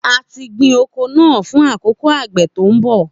A ti gbin oko naa fun akoko agbe to nbọ